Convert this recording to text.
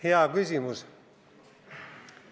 Hea küsimus.